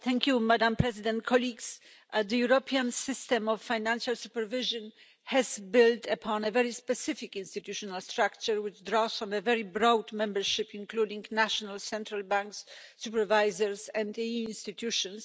Madam President, the European system of financial supervision has built upon a very specific institutional structure, which draws on a very broad membership, including national central banks, supervisors and EU institutions.